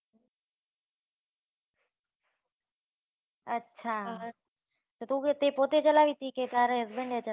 અચ્છા! તુ ગઈ તો તે પોતે ચલાવી હતી, કે તારો friend હતો?